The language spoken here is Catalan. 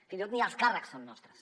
fins i tot ni els càrrecs són nostres